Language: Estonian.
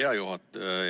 Hea juhataja!